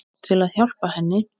Til að hjálpa henni.